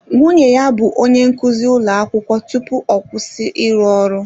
Nwunye ya bụ onye nkụzi ụlọ akwụkwọ tupu ọ kwụsị ịrụ ọrụ